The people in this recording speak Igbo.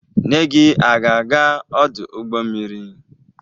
Nne gị aga-aga ọdụ ụgbọ mmiri?